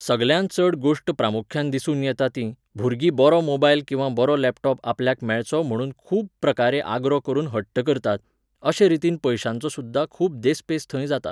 सगळ्यांत चड गोश्ट प्रामुख्यान दिसून येता तीं, भुरगीं बरो मोबायल किंवा बरो लॅपटॉप आपल्याक मेळचो म्हणून खूब प्रकारें आग्रो करून हट्ट करतात. अशे रितीन पयशांचो सुद्दां खूब देस्पेस थंय जाता.